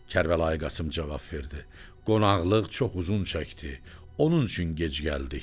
Kərbəlayı cavab verdi: Qonaqlıq çox uzun çəkdi, onun üçün gec gəldik.